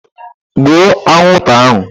Gbuo anwụnta ahụ!